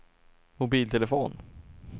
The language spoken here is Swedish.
mobiltelefon